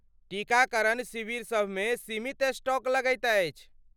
टीकाकरण शिविरसभ मे सीमित स्टॉक लगैत अछि।